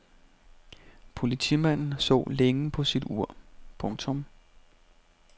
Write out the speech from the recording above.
Politimanden så længe på sit ur. punktum